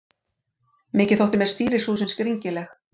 Mikið þótti mér stýrishúsin skringileg.